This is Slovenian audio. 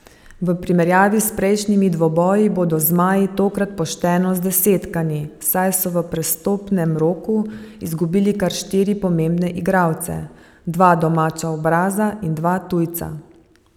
V primerjavi s prejšnjimi dvoboji bodo zmaji tokrat pošteno zdesetkani, saj so v prestopnem roku izgubili kar štiri pomembne igralce, dva domača obraza in dva tujca.